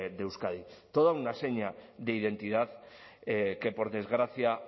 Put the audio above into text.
de euskadi toda una seña de identidad que por desgracia